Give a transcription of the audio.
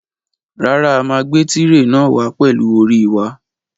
Rárá, a máa gbé tirè náà wàá pẹlú orí wa.